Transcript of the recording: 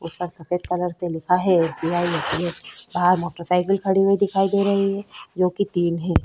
उसपर सफ़ेद कलर से लिखा है S. B. I. A. T. M. बाहर मोटर सायकल खड़ी हुई दिखाई दे रही है जो की तीन है।